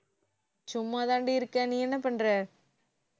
சும்மாதாண்டி இருக்கேன் நீ என்ன பண்ற